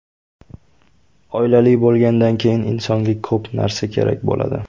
Oilali bo‘lgandan keyin insonga ko‘p narsa kerak bo‘ladi.